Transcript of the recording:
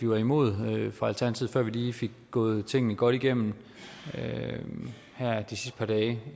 var imod før vi lige fik gået tingene godt igennem her de sidste par dage